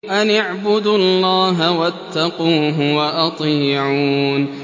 أَنِ اعْبُدُوا اللَّهَ وَاتَّقُوهُ وَأَطِيعُونِ